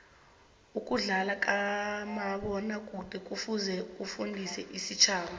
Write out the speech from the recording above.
umudlalo kamabona kude kufuze ufundise istjhaba